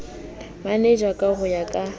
manager ka ho ya ka